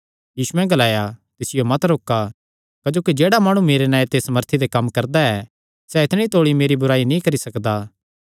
यीशुयैं ग्लाया तिसियो मत रोका क्जोकि जेह्ड़ा माणु मेरे नांऐ ते सामर्थी दे कम्म करदा ऐ क्जोकि सैह़ इतणी तौल़ी बुराई नीं करी सकदा